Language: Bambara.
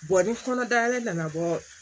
ni kɔnɔ dayɛlɛ nana bɔ